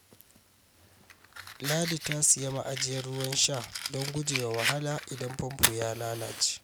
Ladi ta siya ma'ajiyar ruwan sha don guje wa wahala idan famfo ya lalace.